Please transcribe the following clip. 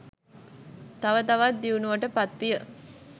තව තවත් දියුණුවට පත්විය.